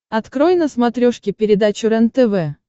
открой на смотрешке передачу рентв